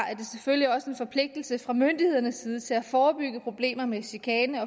selvfølgelig også en forpligtelse fra myndighedernes side til at forebygge problemer med chikane